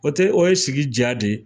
O te, o ye sigi diya de ye.